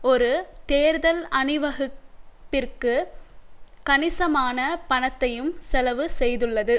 ஒரு தேர்தல் அணிவகுப் பிற்கு கணிசமான பணத்தையும் செலவு செய்துள்ளது